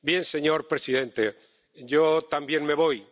Señor presidente, yo también me voy.